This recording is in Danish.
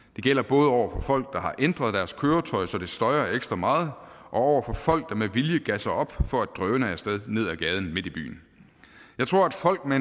det gælder både over for folk der har ændret deres køretøj så det støjer ekstra meget og over for folk der med vilje gasser op for at drøne af sted ned ad gaden midt i byen jeg tror at folk med